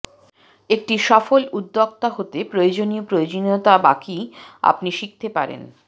একটি সফল উদ্যোক্তা হতে প্রয়োজনীয় প্রয়োজনীয়তা বাকি আপনি শিখতে পারেন